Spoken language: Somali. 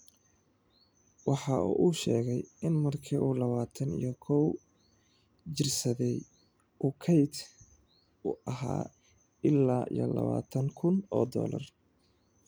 Waxa uu sheegay in markii uu lawatan iyo koow jirsaday, uu kayd u ​​ahaa ilaa lawatan kuun oo dollar .